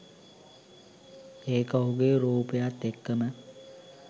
ඒක ඔහුගේ රූපයත් එක්කම